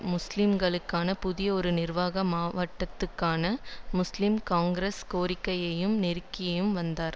முஸ்லீம்களுக்கான புதிய ஒரு நிர்வாக மாவட்டத்துக்கான முஸ்லீம் காங்கிரஸ் கோரிக்கைக்காக நெருக்கியும் வந்தார்